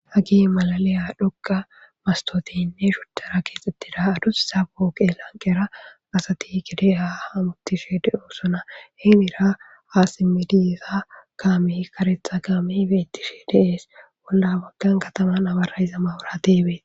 Hagi malaliya dhogqa mastoteynne shuttara keexxittida adus sa booke lanqera asati kideya hamutishe de'oo sona heenira aasi midiyza kaami karetha kaami beettishe deees wolla baggan kataman abara iza mawura deebee